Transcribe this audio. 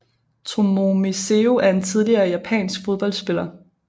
Tomomi Seo er en tidligere japansk fodboldspiller